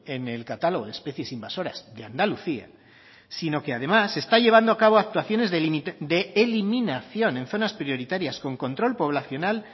en el catálogo de especies invasoras de andalucía sino que además está llevando a cabo actuaciones de eliminación en zonas prioritarias con control poblacional